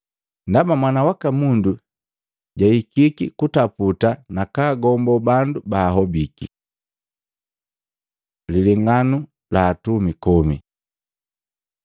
Ndaba Mwana waka Mundu juhikiki kataputa na kagombo bandu bahobiki.” Lilenganu la atumi komi Matei 25:14-30